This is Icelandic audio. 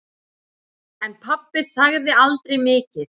En pabbi sagði aldrei mikið.